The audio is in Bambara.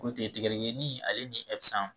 K'o tigɛ tigɛ ye ni ale ni